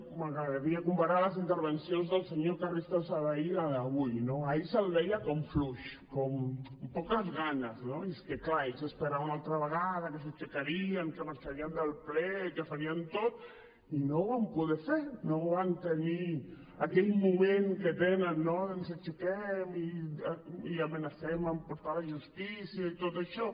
m’agradaria comparar les intervencions del senyor carrizosa d’ahir i la d’avui no ahir se’l veia com fluix com amb poques ganes no i és que clar ells esperaven una altra vegada que s’aixecarien que marxarien del ple que farien tot i no ho van poder fer no van tenir aquell moment que tenen no ens aixequem i amenacem amb portar a la justícia i tot això